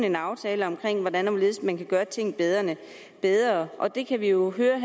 en aftale om hvordan og hvorledes man kan gøre ting bedre bedre og det kan vi jo høre